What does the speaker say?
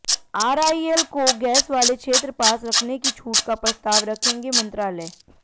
RIL को gas वाले क्षेत्र पास रखने की छूट का प्रस्ताव रखेग मंत्रालय